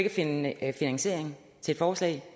at finde finansiering til forslag